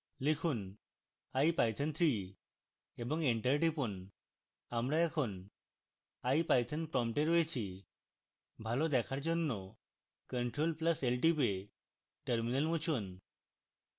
লিখুন ipython3 এবং enter টিপুন আমরা এখন ipython prompt রয়েছি